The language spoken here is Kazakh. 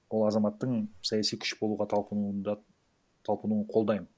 ол азаматтың саяси күш болуға талпынуын да талпынуын қолдаймын